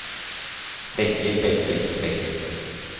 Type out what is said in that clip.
begge begge begge